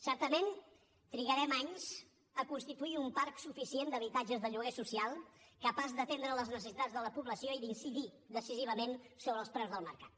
certament trigarem anys a constituir un parc suficient d’habitatges de lloguer social capaç d’atendre les necessitats de la població i d’incidir decisivament sobre els preus del mercat